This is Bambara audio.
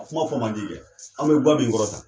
A kuma fɔ man di kɛ an bɛ ga min kɔrɔ tan